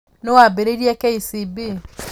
Nũũ waambĩrĩirie KCB?